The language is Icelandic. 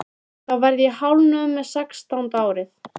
Þá verð ég hálfnuð með sextánda árið.